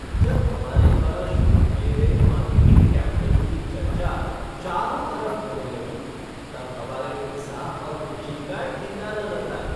जब हमारे द्वारा शुरू किए गए मार्केटिंग कैम्पेन की चर्चा चारों तरफ होने लगी तब हमारे उत्साह और खुशी का ठिकाना न था।